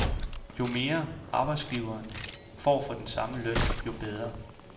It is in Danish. Jo mere, arbejdsgiveren får for den samme løn, jo bedre.